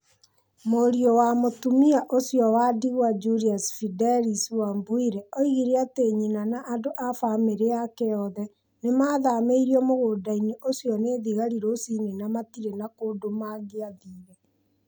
Mũriũ wa mũtumia ũcio wa ndigwa Julius Fedelis Wabwire oigire atĩ nyina na andũ a famĩlĩ yake othe nĩ maathamirio mũgũnda-inĩ ũcio nĩ thigari rũcinĩ na matirĩ na kũndũ mangĩathire.